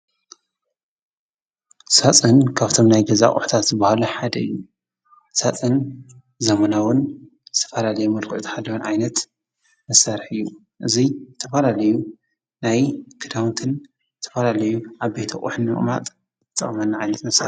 ሳፅን ካብቶም ናይ ገዛ ኣቅሑታት ዝበሃሉ ሓደ እዩ፡፡ ሳፅን ዘበናውን ዝተፈላለዩ መልክዕ ዝሓዘ ዓይነት መሳርሒ እዩ፡፡ እዚ ዝተፈላለዩ ናይ ክዳውንትን ዝተፈላለዩ ዓበይቲ ኣቅሑ ንምቅማጥ ዝጠቅመና ዓይነት መሳርሒ እዩ፡፡